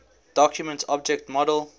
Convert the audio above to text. document object model